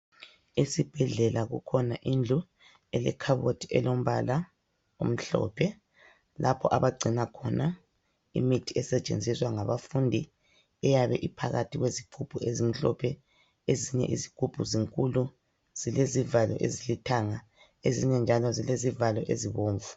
Esibhedlela kukhona indlu lekhabothi elombala omhlophe. Lapho abagcina khona imithi esetshenziswa ngabafundi. Eyabe iphakathi kwezigubhu ezimhlophe. Ezinye izihlgubhu zinkulu, zilezivalo ezilithanga, ezinye zilezivalo ezibomvu.